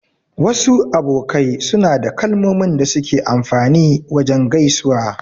Wasu abokai suna da kalmomin da suke amfani wajen gaisuwa.